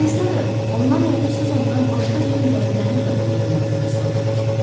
Yadınızdadır, ondan evdə Suzandan başqa bir mürəbbiyənin də olub-olmadığını soruşmuşdum.